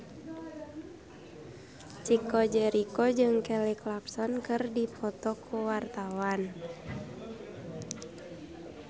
Chico Jericho jeung Kelly Clarkson keur dipoto ku wartawan